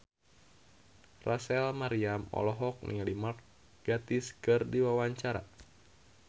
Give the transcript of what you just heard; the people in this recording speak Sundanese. Rachel Maryam olohok ningali Mark Gatiss keur diwawancara